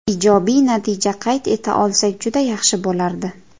Ijobiy natija qayd eta olsak juda yaxshi bo‘lardi.